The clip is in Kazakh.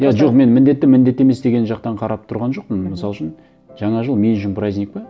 иә жоқ мен міндетті міндетті емес деген жақтан қарап тұрған жоқпын мхм мысал үшін жаңа жыл мен үшін праздник пе